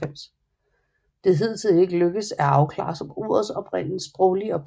Det er ikke hidtil lykkedes at afklare ordets sproglige oprindelse